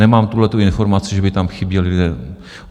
Nemám tuhletu informaci, že by tam chyběli lidé.